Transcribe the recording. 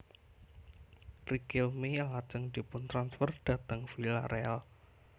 Riquelme lajeng diputransfer dhateng Villareal